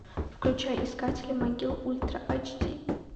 включай искатели могил ультра ач ди